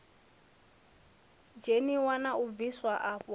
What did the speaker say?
dzheniwa na u bviwa afho